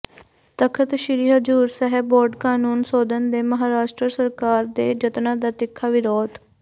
ਤਖ਼ਤ Sri Hazur Sahib board ਕਾਨੂੰਨ ਸੋਧਣ ਦੇ ਮਹਾਰਾਸ਼ਟਰ ਸਰਕਾਰ ਦੇ ਜਤਨਾਂ ਦਾ ਤਿੱਖਾ ਵਿਰੋਧ